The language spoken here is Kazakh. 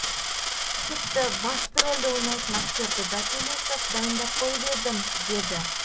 тіпті басты рольді ойнайтын актерді да сөйлесіп дайындап қойып едім деді